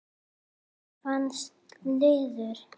Það var fastur liður.